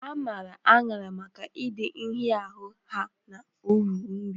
A maara aghara maka ịdị nhịahụ ha na uru nri.